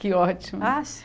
Que ótimo! Ah